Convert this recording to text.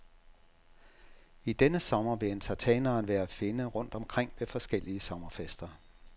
I denne sommer vil entertaineren være at finde rundt omkring ved forskellige sommerfester.